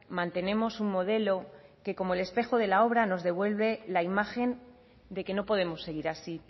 mantenemos un modelo que como el espejo de la obra nos devuelve la imagen de que no podemos seguir así